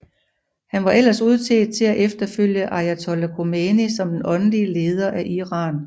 Han var ellers udset til at efterfølge ayatollah Khomeini som den åndelige leder af Iran